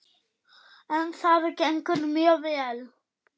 En það gengur mjög vel.